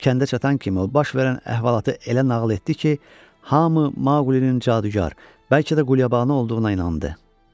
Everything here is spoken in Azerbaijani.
Kəndə çatan kimi o baş verən əhvalatı elə nağıl etdi ki, hamı Mauqlinin cadugar, bəlkə də qulyabanı olduğuna inandı.